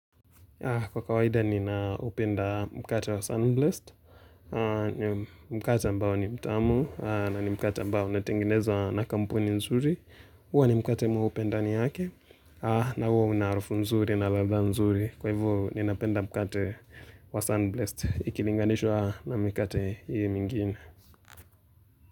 Kwa kawaida ninaupenda mkate wa Sunblest. Mkate ambao ni mtamu, na mkate ambao inatenginezwa na kampuni nzuri. Huwa ni mkate mweupe ndani yake. Na huwa una harufu nzuri na ladhaa nzuri. Kwa hivyo ninapenda mkate wa Sunblest ikilinganishwa na mikate hiyo mingine.